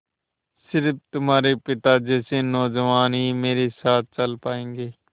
स़िर्फ तुम्हारे पिता जैसे नौजवान ही मेरे साथ चल पायेंगे